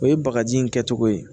O ye bagaji in kɛcogo ye